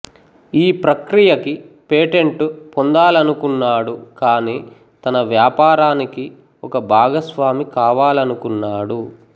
ఈ ప్రక్రియకి పేటెంటు పొందాలనుకొన్నాడు కానీ తన వ్యాపారానికి ఒక భాగస్వామి కావాలనుకొన్నాడు